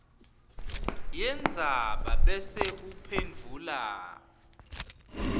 yendzaba bese uphendvula